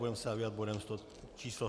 Budeme se zabývat bodem číslo